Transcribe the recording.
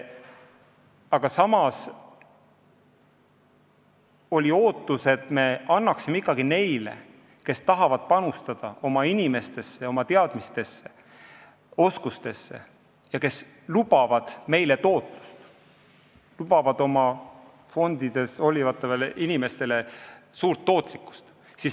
Aga samas oli ootus, et me ikkagi ei piiraks neid, kes tahavad panustada oma inimestesse, oma teadmistesse ja oskustesse ning kes lubavad meile tootlust, lubavad oma fondi valinud inimestele suurt tootlust.